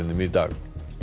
í dag